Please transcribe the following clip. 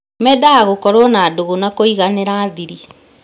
Mendaga gũkorũo na ndũgũ na kũiganĩra thiri.